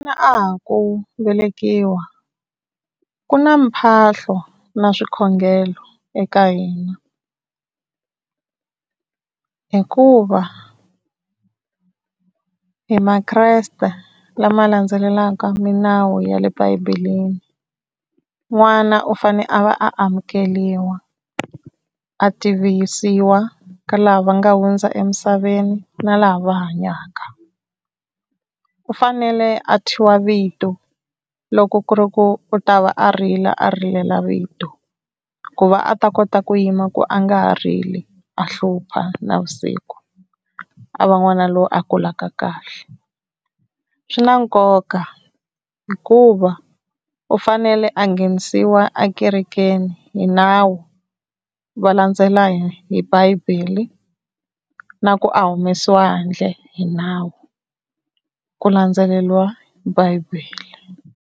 Na a ha ku velekiwa ku na mphahlo na swikhongelo eka hina hikuva hi maKreste lama landzelelaka minawu ya le Bibeleni n'wana u fane a va a amukeriwa a tivisiwa ka lava va nga hundza emisaveni na lava va hanyaka, u fanele a thyiwa vito loko ku ri ku u ta va a rila a rilela vito ku va a ta kota ku yima ku a nga ha rili a hlupha navusiku a va n'wana loyi a kulaka kahle swi na nkoka hikuva u fanele a nghenisiwa ekerekeni hi nawu va landzela hi bibele na ku a humesiwa handle hi nawu ku landzeleriwa bibele.